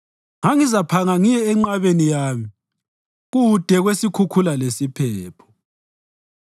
ngangizaphanga ngiye enqabeni yami, kude kwesikhukhula lesiphepho.”